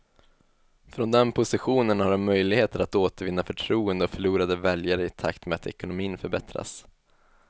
Från den positionen har de möjligheter att återvinna förtroende och förlorade väljare i takt med att ekonomin förbättras.